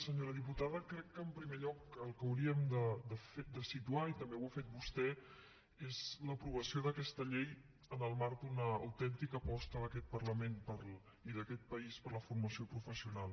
senyora diputada crec que en primer lloc el que hauríem de situar i també ho ha fet vostè és l’aprovació d’aquesta llei en el marc d’una autèntica aposta d’aquest parlament i d’aquest país per la formació professional